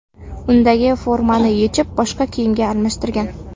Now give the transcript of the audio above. Undagi formani yechib, boshqa kiyimga almashtirgan.